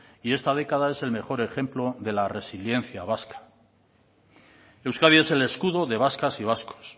y esta década es el mejor ejemplo de la resiliencia vasca euskadi es el escudo de vascas y vascos